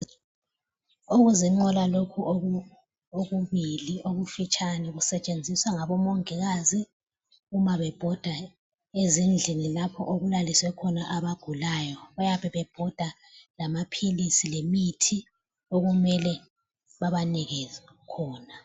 Okuzinqola lokhu okubili okufitshane kusetshenziswa ngabomongikazi uma bebhoda ezindlini lapho okulaliswe khona abagulayo, bayabe bebhoda lamaphilisi lemithi okumele babanikeze khona.